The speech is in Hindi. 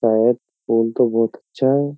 शायद फूल तो बहुत अच्छा है।